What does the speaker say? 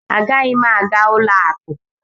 Agaghị m aga ụlọ akụ!